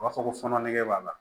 U b'a fɔ ko fɔnɔ nege b'a la